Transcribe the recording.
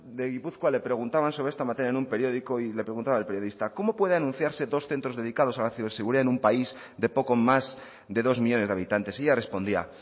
de gipuzkoa le preguntaban sobre esta materia en un periódico y le preguntaba el periodista cómo puede anunciarse dos centros dedicados a la ciberseguridad en un país de poco más de dos millónes de habitantes ella respondía